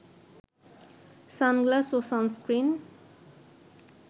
sunglass ও sunscreen